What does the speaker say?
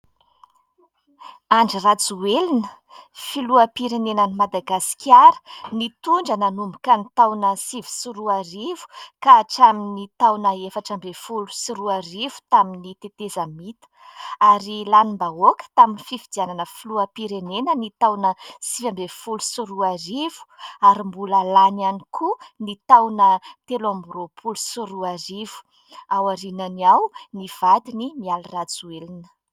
Andry RAJOELINA, filoham-pirenenan'i Madagasikara, nitondra nanomboka ny taona sivy sy roarivo ka hatramin'ny taona efatra ambin'ny folo sy roarivo tamin'ny tetezamita ary lanim-bahoaka tamin'ny fifidianana filoham-pirenena ny taona sivy ambin'ny folo sy roarivo ary mbola lany ihany koa ny taona telo amby roapolo sy roarivo. Ao aorianany ao ny vadiny Mialy RAJOELINA.